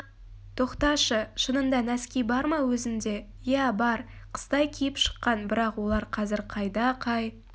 тоқташы шынында нәски бар ма өзінде иә бар қыстай киіп шыққан бірақ олар қазір қайда қай